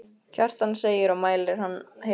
Kjartan segir og mæli hann heill.